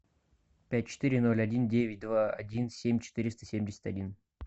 пять четыре ноль один девять два один семь четыреста семьдесят один